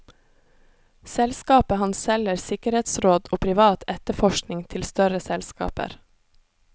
Selskapet hans selger sikkerhetsråd og privat etterforskning til større selskaper.